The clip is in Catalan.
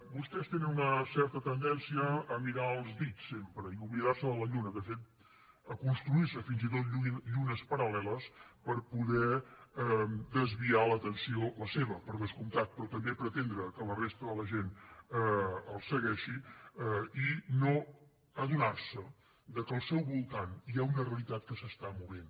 vostès tenen una certa tendència a mirar els dits sempre i oblidar se de la lluna de fet a construir se fins i tot llunes paral·leles per poder desviar l’atenció la seva per descomptat però també pretendre que la resta de la gent els segueixi i no adonar se que al seu voltant hi ha una realitat que s’està movent